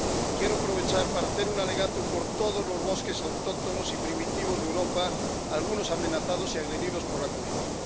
Quiero aprovechar para hacer un alegato por todos los bosques autóctonos y primitivos de Europa, algunos amenazados y agredidos por la codicia.